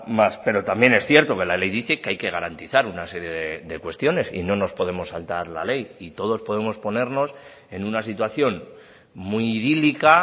más pero también es cierto que la ley dice que hay que garantizar una serie de cuestiones y no nos podemos saltar la ley y todos podemos ponernos en una situación muy idílica